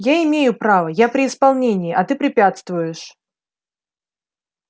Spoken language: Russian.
я имею право я при исполнении а ты препятствуешь